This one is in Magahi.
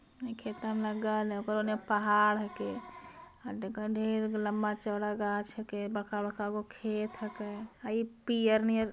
अ खेत अ में लग्गा है ओकरा नियर पहाड़ हैके --